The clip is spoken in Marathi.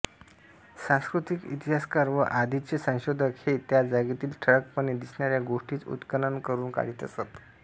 सांस्कृतिक इतिहासकार व आधीचे संशोधक हे त्या जागेतील ठळकपणे दिसणाऱ्या गोष्टीच उत्खनन करून काढीत असत